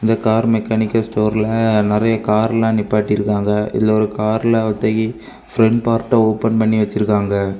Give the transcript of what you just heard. Car mechanical ஸ்டோர்ல நறைய கார்லாம் நிப்பாட்டி இருக்காங்க இதுல ஒரு கார்ல ஒத்த கி பிரண்ட் பார்ட்ட ஓபன் பண்ணி வச்சிருக்காங்க.